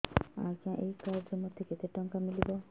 ଆଜ୍ଞା ଏଇ କାର୍ଡ ରେ ମୋତେ କେତେ ଟଙ୍କା ମିଳିବ